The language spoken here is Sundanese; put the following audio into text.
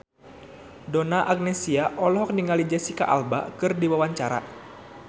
Donna Agnesia olohok ningali Jesicca Alba keur diwawancara